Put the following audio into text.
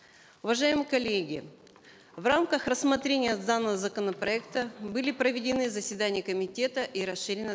уважаемые коллеги в рамках рассмотрения данного законопроекта были проведены заседания комитета и расширенное